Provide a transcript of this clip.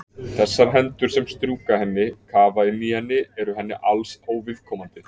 Þessar hendur sem strjúka henni, kafa inn í henni eru henni alls óviðkomandi.